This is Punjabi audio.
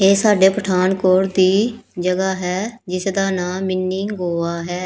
ਇਹ ਸਾਡੇ ਪਠਾਨਕੋਟ ਦੀ ਜਗ੍ਹਾ ਹੈ ਜਿਸ ਦਾ ਨਾਂ ਮਿੰਨੀ ਗੋਆ ਹੈ।